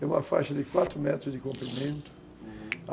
É uma faixa de quatro metros de comprimento,